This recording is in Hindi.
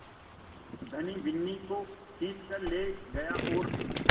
धनी बिन्नी को खींच कर ले गया और